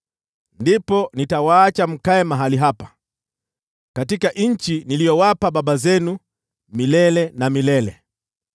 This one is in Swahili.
ndipo nitawaacha mkae mahali hapa, katika nchi niliyowapa baba zenu milele na milele.